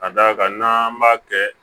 Ka d'a kan n'an b'a kɛ